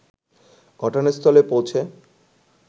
ঘটনাস্থলে পৌঁছে